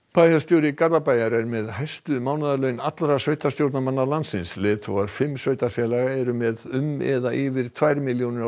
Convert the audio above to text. bæjarstjóri Garðabæjar er með hæstu mánaðarlaunin af öllum sveitarstjórnarmönnum landsins leiðtogar fimm sveitarfélaga eru með um eða yfir tvær milljónir á